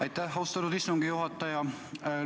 Aitäh, austatud istungi juhataja!